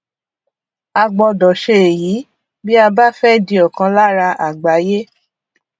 a gbọdọ ṣe èyí bí a bá fẹ di ọkan lára àgbáyé